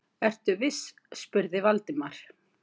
Ertu viss? spurði Valdimar.